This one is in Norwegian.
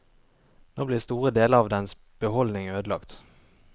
Nå blir store deler av dens beholdning ødelagt.